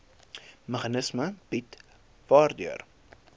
meganisme bied waardeur